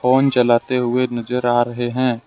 Phone चलते हुवे नजर आ रहे हैं।